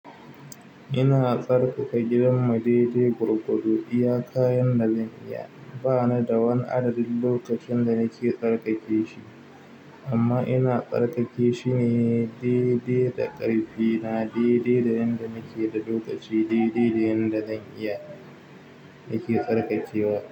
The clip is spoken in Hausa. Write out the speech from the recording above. Ina tsarkaka gidan mu dai-dai gwargwado iyaka yanda zan iya. Banida wani adadin lokacin da nake tsarkake shi, amma ina tsarkake shi dai-dai da ƙarfina, dai-dai da yanda nake da lokaci, dai-dai da yanda zan iya nake tsarkakewa.